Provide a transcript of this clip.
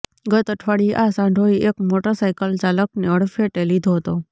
ગત અઠવાડિયે આ સાંઢોએ એક મોટર સાઈકલચાલકને અડફટે લીધો હતો